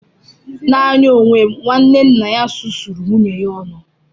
N'anya onwe m, nwanne nna ya susuru nwunye ya ọnụ.